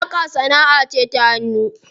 Saƙa sanaʼa ce ta hannu.